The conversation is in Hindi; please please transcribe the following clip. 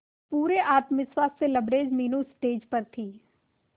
पूरे आत्मविश्वास से लबरेज मीनू स्टेज पर थी